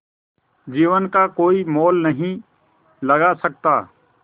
जीवन का कोई मोल नहीं लगा सकता